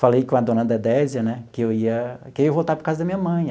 Falei com a dona Dedésia né que eu ia que eu ia voltar para a casa da minha mãe.